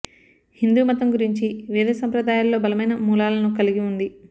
హిందు మతం గురించి వేద సంప్రదాయాలలో బలమైన మూలాలను కలిగి ఉంది